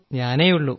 ഞാനേയുള്ളൂ